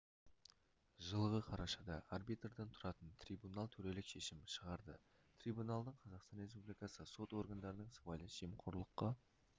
жылғы қарашада арбитрдан тұратын трибунал төрелік шешім шығарды трибунал дың қазақстан республикасы сот органдарының сыбайлас жемқорлыққа